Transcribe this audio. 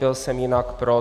Byl jsem jinak pro.